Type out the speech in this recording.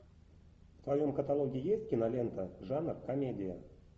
в твоем каталоге есть кинолента жанр комедия